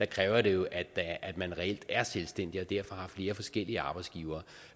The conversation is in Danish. kræves der jo at at man reelt er selvstændig og derfor har flere forskellige arbejdsgivere